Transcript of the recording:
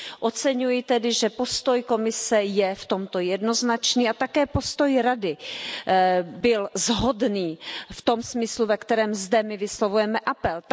Oceňuji tedy, že postoj Komise je v tomto jednoznačný a také postoj Rady byl shodný v tom smyslu, ve kterém zde my vyslovujeme apel.